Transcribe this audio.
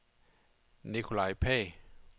Nikolaj Pagh